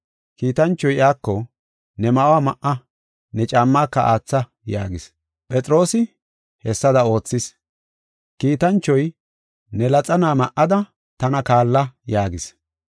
Kiitanchoy iyako, “Ne ma7uwa ma7a, ne caammaaka aatha” yaagis. Phexroosi hessada oothis; kiitanchoy, “Ne laxana ma7ada tana kaalla” yaagis.